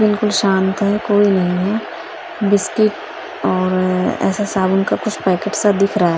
बिलकुल शांत है कोई नहीं है बिस्किट और ऐसे साबुन का कुछ पैकेट सा दिख रहा।